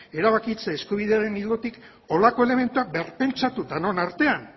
erabakitzeko eskubidearen ildotik horrelako elementuak berpentsatu denon artean